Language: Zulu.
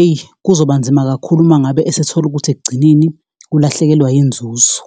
eyi, kuzoba nzima kakhulu uma ngabe esethola ukuthi ekugcineni ulahlekelwa yinzuzo.